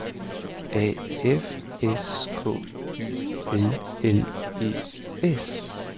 A F S K Y L L E S